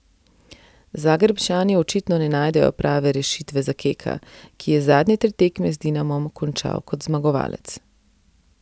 Zagrebčani očitno ne najdejo prave rešitve za Keka, ki je zadnje tri tekme z Dinamom končal kot zmagovalec.